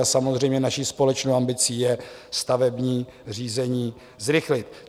A samozřejmě naší společnou ambicí je stavební řízení zrychlit.